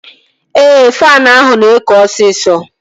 Ee, faanụ ahụ na-ekụ osisọ